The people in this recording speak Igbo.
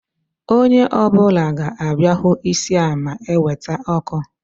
Onye ọ bụla ga-abịa hụ isi a ma eweta ọkụ